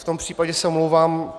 V tom případě se omlouvám.